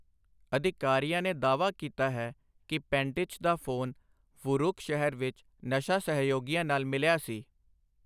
ਅਧਿਕਾਰੀਆਂ ਨੇ ਦਾਅਵਾ ਕੀਤਾ ਹੈ ਕਿ ਪੈਂਟਿਚ ਦਾ ਫੋਨ ਵੁਰੂਕ ਸ਼ਹਿਰ ਵਿੱਚ ਨਸ਼ਾ ਸਹਿਯੋਗੀਆਂ ਨਾਲ ਮਿਲਿਆ ਸੀ।